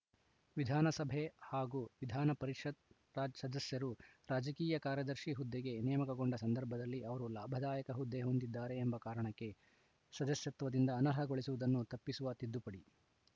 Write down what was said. ವಿಧಾನಸಭೆ ಹಾಗೂ ವಿಧಾನ ಪರಿಷತ್‌ ರಾಜ್ ಸದಸ್ಯರು ರಾಜಕೀಯ ಕಾರ್ಯದರ್ಶಿ ಹುದ್ದೆಗೆ ನೇಮಕಗೊಂಡ ಸಂದರ್ಭದಲ್ಲಿ ಅವರು ಲಾಭದಾಯಕ ಹುದ್ದೆ ಹೊಂದಿದ್ದಾರೆ ಎಂಬ ಕಾರಣಕ್ಕೆ ಸದಸ್ಯತ್ವದಿಂದ ಅನರ್ಹಗೊಳಿಸುವುದನ್ನು ತಪ್ಪಿಸುವ ತಿದ್ದುಪಡಿ